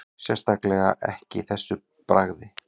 Sérstaklega ekki þessu bragði